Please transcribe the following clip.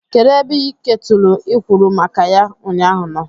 Kedu ebe iketulu i kwuru maka ya ụnyaahụ nọ?